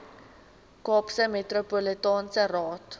kaapse metropolitaanse raad